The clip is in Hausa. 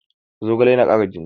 Zogale yana kara jini